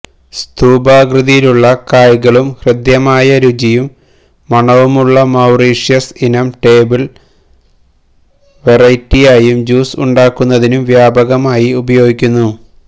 സ്തൂപാകൃതിയുള്ള കായ്കളും ഹൃദ്യമായ രുചിയും മണവുമുള്ള മൌറീഷ്യസ് ഇനം ടേബിള് വെറൈറ്റിയായും ജ്യൂസ് ഉണ്ടാക്കുന്നതിനും വ്യാപകമായി ഉപയോഗിക്കുന്നു